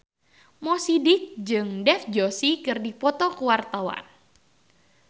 Mo Sidik jeung Dev Joshi keur dipoto ku wartawan